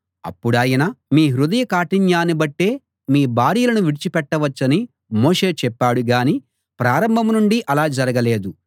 అప్పుడాయన మీ హృదయ కాఠిన్యాన్ని బట్టే మీ భార్యలను విడిచిపెట్టవచ్చని మోషే చెప్పాడు గానీ ప్రారంభం నుండీ అలా జరగలేదు